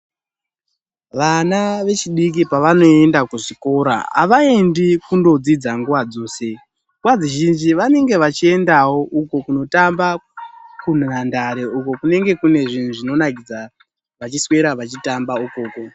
Vana vechidiki pavanoenda kuzvikora havaendi kundodzidza nguva dzose. Nguva zhinji vanenge vachiendavo uko kunotamba kunhandare uko kunenge kunezvinhu zvinonakidza vachiswera vachitamba ikoko.